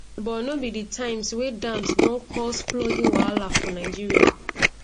but no be di times wey dams don cause flooding wahala for nigeria